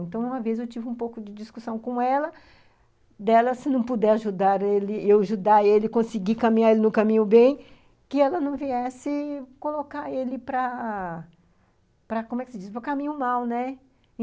Então, uma vez eu tive um pouco de discussão com ela, dela se não puder ajudar ele, eu ajudar ele, conseguir caminhar ele no caminho bem, que ela não viesse colocar ele para, como é que se diz, para o caminho mal, né?